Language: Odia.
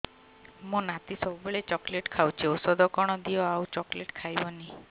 ମୋ ନାତି ସବୁବେଳେ ଚକଲେଟ ଖାଉଛି ଔଷଧ କଣ ଦିଅ ଆଉ ଚକଲେଟ ଖାଇବନି